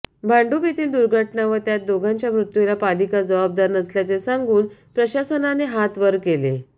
भांडुप येथील दुर्घटना व त्यात दोघांच्या मृत्यूला पालिका जबाबदार नसल्याचे सांगून प्रशासनाने हात वर केले